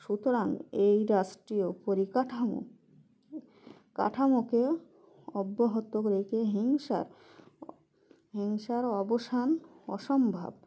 সুতরাং এই রাষ্ট্রীয় পরিকাঠামো কাঠামোকে অব্যাহত রেখে হিংসার হিংসার অবসান অসম্ভব